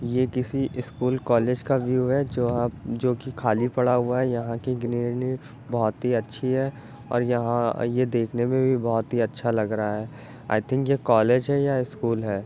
ये किसी school college का व्यू हैं जो अब जोकि खाली पड़ा हुआ है| यहाँ की बहोत ही अच्छी है और यहाँ ये देखने में भी बहोत अच्छा लग रहा है| आई थिंक ये कॉलेज है या स्कूल है|